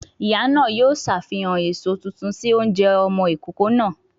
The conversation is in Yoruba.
Ìyá náà yóò ṣàfihàn èso tuntun sí oúnjẹ ọmọ ìkókó náà